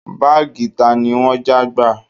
Báàgì tani wọ́n já gbà?